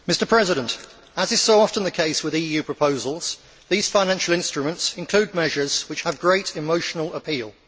Mr President, as is so often the case with EU proposals, these financial instruments include measures which have great emotional appeal.